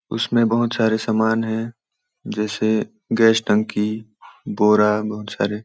उसमें बहुत सारे सामान हैं जैसे गैस टंकी बोरा बहुत सारे --